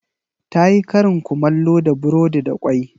Ta yi karin kumallo da burodi da kwai.